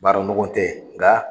Baara nɔgɔn tɛ nga